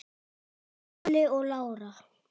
Óli og Lára.